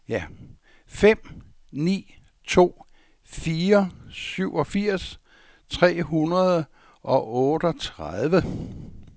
fem ni to fire syvogfirs tre hundrede og otteogtredive